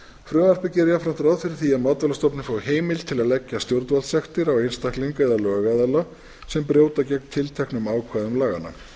frumvarpið gerir jafnframt ráð fyrir því að matvælastofnun fái heimild til að leggja stjórnvaldssektir á einstakling eða lögaðila sem brjóta gegn tilteknum ákvæðum laganna